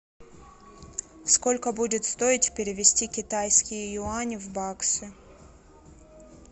сколько будет стоить перевести китайские юани в баксы